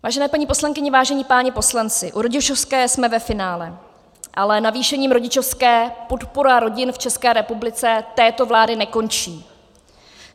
Vážené paní poslankyně, vážení páni poslanci, u rodičovské jsme ve finále, ale navýšením rodičovské podpora rodin v České republice této vlády nekončí.